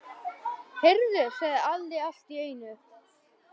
Heyrðu, sagði Alli allt í einu.